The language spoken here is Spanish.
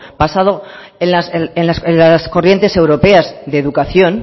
basado en las corrientes europeas de educación